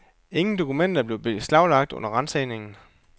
Ingen dokumenter blev beslaglagt under ransagningen.